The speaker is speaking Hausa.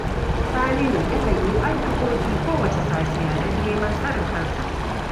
Saminu yakan yi addu'o'i kowacce safiya don neman tsarin kansa